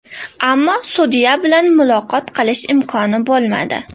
Ammo sudya bilan muloqot qilish imkoni bo‘lmadi.